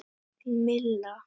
Þín Milla.